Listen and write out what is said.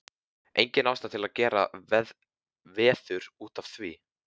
Engin ástæða til að gera veður út af því.